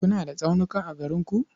Kuna da tsaunuka a garin ku?